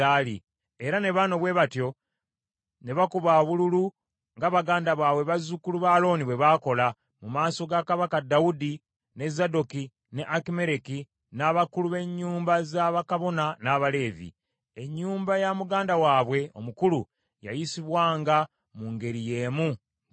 Era ne bano bwe batyo ne bakuba obululu, nga baganda baabwe bazzukulu ba Alooni bwe baakola, mu maaso ga Kabaka Dawudi, ne Zadooki, ne Akimereki, n’abakulu b’ennyumba za bakabona n’Abaleevi. Ennyumba ya muganda waabwe omukulu yayisibwanga mu ngeri y’emu ng’ey’omuto.